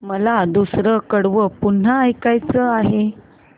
मला दुसरं कडवं पुन्हा ऐकायचं आहे